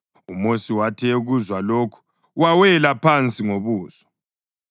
UMosi wathi ekuzwa lokhu, wawela phansi ngobuso.